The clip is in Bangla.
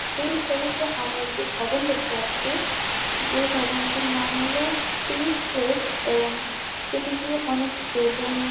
এই ছবিতে আমরা একটি ভবন দেখতে পাচ্ছি। যে ভবনটির নাম হল শ্রী প্লেস এবং সেটিকে অনেক বেলুন --